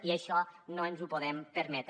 i això no ens ho podem permetre